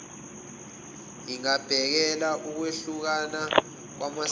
engabhekela ukwehlukana kwamasiko